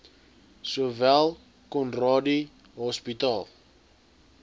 sowel conradie hospitaal